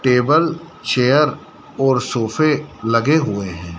Table chair और सोफे लगे हुए हैं।